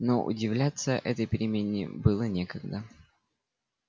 но удивляться этой перемене было некогда